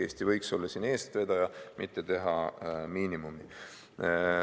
Eesti võiks olla siin eestvedaja, mitte teha miinimumi.